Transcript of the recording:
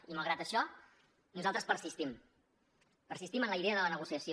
i malgrat això nosaltres persistim persistim en la idea de la negociació